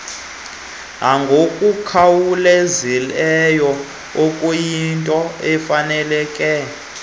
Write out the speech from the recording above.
nangokukhawulezileyo okuyinto efaneleke